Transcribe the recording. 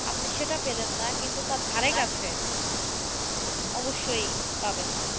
আপনি সেটা পেলেন না কিন্তু তার ধারে কাছে অবশ্যই পাবেন।